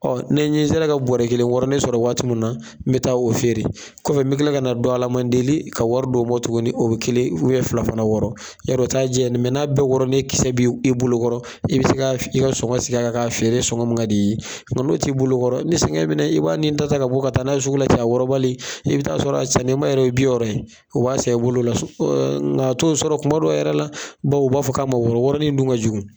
Ɔ ne ɲɛ sera ka bɔrɛ kelen wɔɔrɔnin sɔrɔ waati munna n bɛ taa o feere. Kɔfɛ bɛ kila ka na dɔ ala man deli ka wari do bɔ tugunni o bɛ kelen fila fana wɔɔrɔ yarɔ o ta diya dɛ, n'a bɛɛ wɔɔrɔ ne kisɛ bɛ e bolokɔrɔ i bɛ se ka fe i ka sɔngɔ sigi a kan ka feere sɔngɔ min ka d i ye. Nka no t'i bolokɔrɔ ni sɛgɛn minɛ i b'a nin ta ta ka bɔ ka taa n'a ye sugula ten a wɔɔrɔbali, i bɛ ta sɔrɔ a san ne ba yɛrɛ ye bi wɔɔrɔ ye, o b'a san i bolo o la son. nka to sɔrɔ kumadɔw yɛrɛ la, baw u b'a fɔ k'a ma wɔɔrɔ, wɔɔroni dun ka jugu.